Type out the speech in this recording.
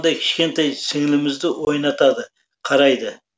кішкентай сіңілімізді ойнатады қарайды